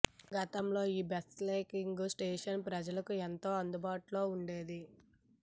గతంలో ఈ bicycling station ప్రజలకు ఎంతో అందుబాటులో ఉండేది